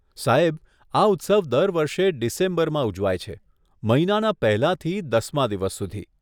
સાહેબ, આ ઉત્સવ દર વર્ષે ડિસેમ્બરમાં ઉજવાય છે, મહિનાના પહેલાંથી દસમાં દિવસ સુધી.